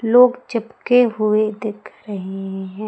लोग चिपके हुए दीख रहे हैं।